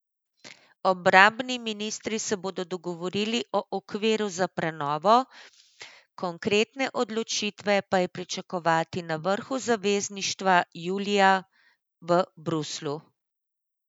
Obrambni ministri se bodo dogovorili o okviru za prenovo, konkretne odločitve pa je pričakovati na vrhu zavezništva julija v Bruslju.